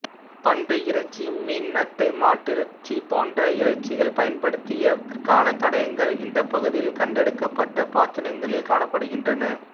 பன்றி இறைச்சி மீன் நத்தை மாட்டிறைச்சி போன்ற இறைச்சிகள் பயன்படுத்தியதற்கான தடயங்கள் இந்த பகுதியில் கண்டெடுக்கப்பட்ட பாத்திரங்களில் காணப்படுகின்றன